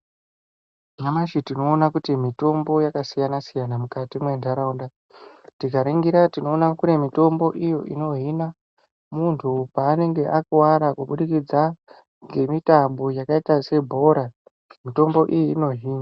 Nyamashi tinoona kuti mitombo yakasiyana siyana mukati mwentaraunda tikaringira tinoona kuti kune mitombo iyo inohina muntu paanenge akuwara kubudikidza ngemutambo yakaita sebhora mitombo iyi inohina.